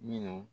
Minnu